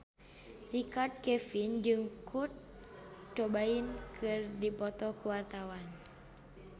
Richard Kevin jeung Kurt Cobain keur dipoto ku wartawan